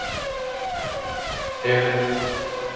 eru dúfur